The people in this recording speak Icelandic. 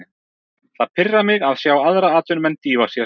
Það pirrar mig að sjá aðra atvinnumenn dýfa sér.